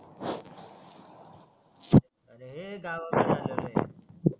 अरे हे गावाकडे आलोलय आहे